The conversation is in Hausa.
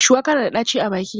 Shuwaka na da ɗaci a baki.